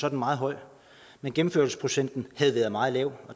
er meget høj men gennemførelsesprocenten har været meget lav